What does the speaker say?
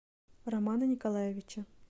романа николаевича